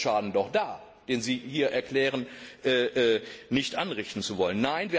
Damit ist der Schaden doch da, den Sie hier erklären, nicht anrichten zu wollen.